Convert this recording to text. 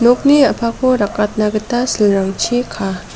nokni a·pako rakatna gita silrangchi kaa.